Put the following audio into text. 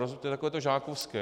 To je takové to žákovské.